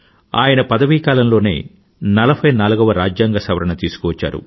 ఆయన పదవీకాలంలోనే 44వ రాజ్యాంగ సవరణ తీసుకువచ్చారు